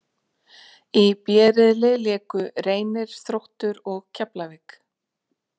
Í B riðli léku Reynir, Þróttur og Keflavík